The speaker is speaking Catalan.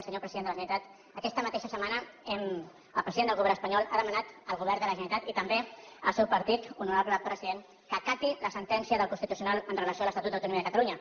senyor president de la generalitat aquesta mateixa setmana el president del govern espanyol ha demanat al govern de la generalitat i també al seu partit honorable president que acati la sentència del constitucional amb relació a l’estatut d’autonomia de catalunya